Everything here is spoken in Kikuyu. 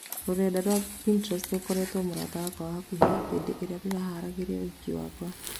"Rũrenda rwa Pinterest rũkoretwo mũrata wakwa wa hakũhĩa hindĩ ĩrĩa ndĩraharagĩria ũhiki wakwa.